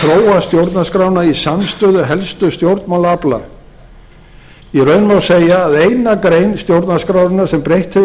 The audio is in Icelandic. að þróa stjórnarskrána í samstöðu helstu stjórnmálaafla í raun má segja að eina grein stjórnarskrárinnar sem breytt hefur